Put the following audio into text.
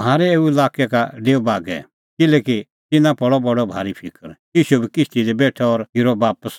म्हारै एऊ लाक्कै का डेऊ बागै किल्हैकि तिन्नां पल़अ बडअ भारी फिकर ईशू बी किश्ती दी बेठअ और फिरअ बापस